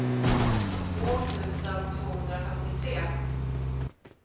tjugotvå tusen tvåhundrafemtiotre